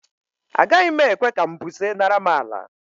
Agaghị m ekwe ka mbuze nara m àlà.